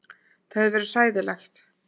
Það hefði verið hræðilegt.